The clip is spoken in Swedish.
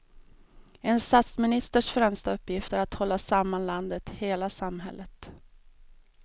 En statsministers främsta uppgift är att hålla samman landet, hela samhället.